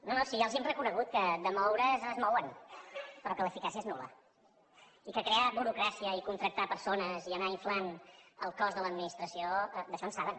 no no si ja els hem reconegut que de moure’s es mouen però que l’eficàcia és nul·la i que crear burocràcia i contractar persones i anar inflant el cost de l’administració d’això en saben